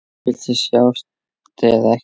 Viltu sjást eða ekki?